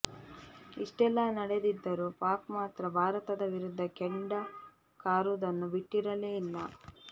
ಇಷ್ಟೆಲ್ಲಾ ನಡೆದಿದ್ದರೂ ಪಾಕ್ ಮಾತ್ರ ಭಾರತದ ವಿರುದ್ಧ ಕೆಂಡ ಕಾರುವುದನ್ನು ಬಿಟ್ಟಿರಲೇ ಇಲ್ಲ